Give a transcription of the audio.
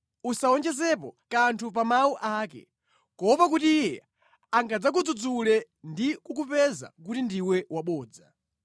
Usawonjezepo kanthu pa mawu ake, kuopa kuti Iye angadzakudzudzule ndi kukupeza kuti ndiwe wabodza.”